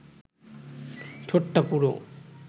ঠোঁটটা পুরু